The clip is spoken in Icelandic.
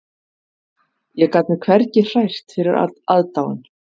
Ég gat mig hvergi hrært fyrir aðdáun